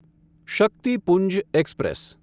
Shaktipunj express